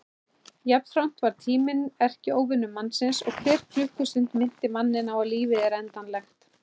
Jafnframt varð tíminn erkióvinur mannsins og hver klukkustund minnti manninn á að lífið er endanlegt.